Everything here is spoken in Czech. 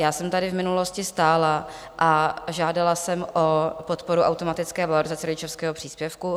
Já jsem tady v minulosti stála a žádala jsem o podporu automatické valorizace rodičovského příspěvku.